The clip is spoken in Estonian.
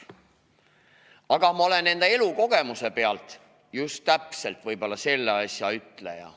Samas ma olen enda elukogemusest lähtudes võib-olla just nimelt selles asjas ütleja.